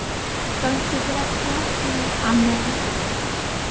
Gangi þér allt í haginn, Annel.